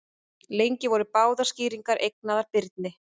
Lengi voru báðar skýringarnar eignaðar Birni.